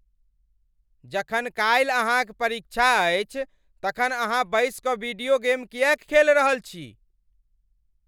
जखन काल्हि अहाँ क परीक्षा अछि तखन अहाँ बसि कऽ वीडियो गेम किएक खेल रहल छी?